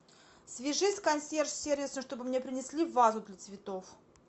свяжись с консьерж сервисом чтобы мне принесли вазу для цветов